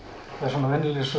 venjulegri sögu